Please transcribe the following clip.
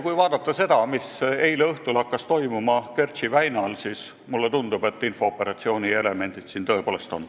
Kui vaadata seda, mis hakkas eile õhtul Kertši väinas toimuma, siis mulle tundub, et siin on tõepoolest infooperatsiooni elemente.